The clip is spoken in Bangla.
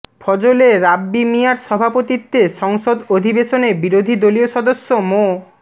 ফজলে রাব্বি মিয়ার সভাপতিত্বে সংসদ অধিবেশনে বিরোধী দলীয় সদস্য মো